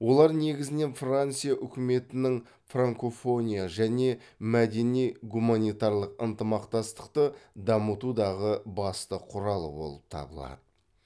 олар негізінен франция үкіметінің франкофония және мәдени гуманитарлық ынтымақтастықты дамытудағы басты құралы болып табылады